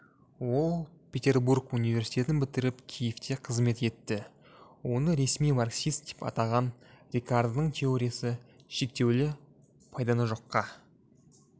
ол петербург университетін бітіріп киевте қызмет етті оны ресми марксист деп атаған рикардоның теориясы шектеулі пайданы жоққа